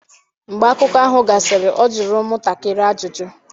Mgbe akụkọ ahụ gasịrị, ọ jụrụ ụmụntakịrị ajụjụ.